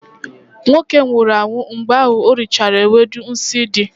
nwoke nwụhuru anwụ mgbe ori chara ewedu ahu nsi di